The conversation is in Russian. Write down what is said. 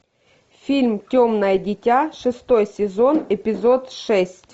фильм темное дитя шестой сезон эпизод шесть